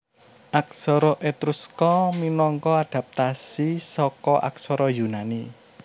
Aksara Etruska minangka adapatasi saka aksara Yunani